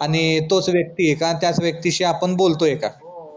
आणि तोच वक्ती आहे का त्याच वक्तीशी आपण बोलतो का हो